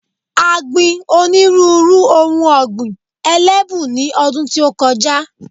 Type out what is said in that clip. A gbi onírúnrú ohun ọ̀gbìn elébù ní ọdún tí ó kọjá.